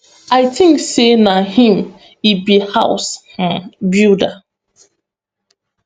i tink say na im e be house um builder